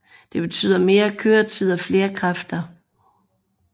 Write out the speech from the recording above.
Det betyder mere køretid og flere kræfter